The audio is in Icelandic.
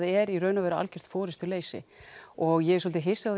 er í raun algert forystuleysi og ég er svolítið hissa